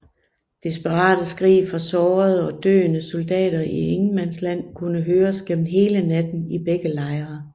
Desperate skrig fra sårede og døende soldater i ingenmandsland kunne høres gennem hele natten i begge lejre